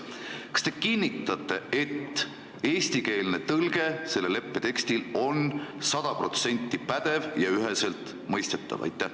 Kas te kinnitate, et selle leppe eestikeelne tõlge on sada protsenti pädev ja üheselt mõistetav?